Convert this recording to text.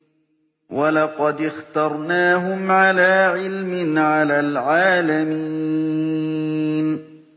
وَلَقَدِ اخْتَرْنَاهُمْ عَلَىٰ عِلْمٍ عَلَى الْعَالَمِينَ